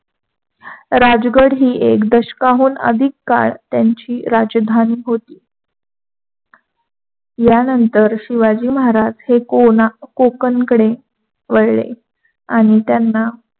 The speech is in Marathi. राजगड हि एक दशकाहून अधिक काळ त्यांची राजधानी होती. यांनतर शिवाजी महाराज हे कोकणकडे वळले आणि त्यांना